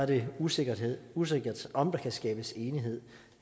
det usikkert usikkert om der kan skabes enighed